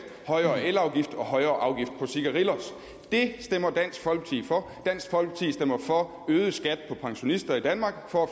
højere elafgift og højere afgift på cigarillos det stemmer dansk folkeparti for dansk folkeparti stemmer for øget skat for pensionister i danmark for